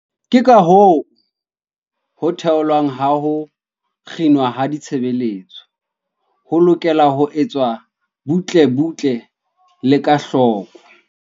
Ke kahoo ho theolwa ha ho kginwa ha ditshebeletso ho lokela ho etswa butle-butle le ka hloko.